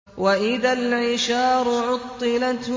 وَإِذَا الْعِشَارُ عُطِّلَتْ